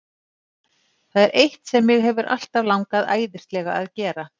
Það er eitt sem mig hefur alltaf langað æðislega að gera.